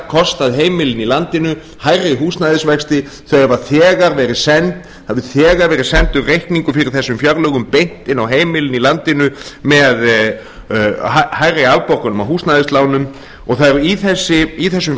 kostað heimilin í landinu hærri húsnæðisvexti það hefur þegar verið sendur reikningur fyrir þessum fjárlögum beint inn á heimilin í landinu með hærri afborgunum af húsnæðislánum og það er í þessum